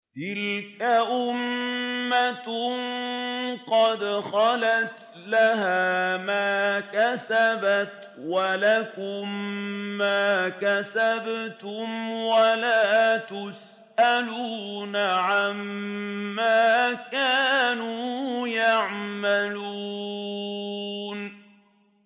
تِلْكَ أُمَّةٌ قَدْ خَلَتْ ۖ لَهَا مَا كَسَبَتْ وَلَكُم مَّا كَسَبْتُمْ ۖ وَلَا تُسْأَلُونَ عَمَّا كَانُوا يَعْمَلُونَ